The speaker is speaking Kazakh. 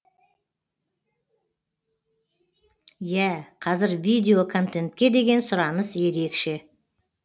иә қазір видео контентке деген сұраныс ерекше